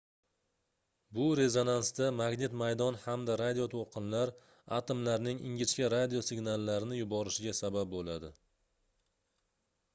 bu rezonansda magnit maydon hamda radio toʻlqinlar atomlarning ingichka radio signallarni yuborishiga sabab boʻladi